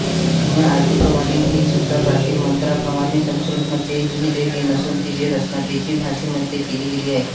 अन्य आरतींप्रमाणे हीसुद्धा प्राचीन मंत्रांप्रमाणे संस्कृतमध्ये लिहिलेली नसून तिची रचना देशी भाषेमध्ये केली गेली आहे